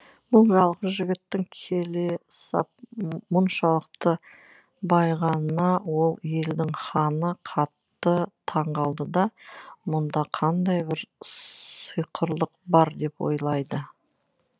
бұл жалғыз жігіттің келе сап мұншалықты байығанына ол елдің ханы қатты таңқалды да мұнда қандай бір сиқырлық бар деп ойлайды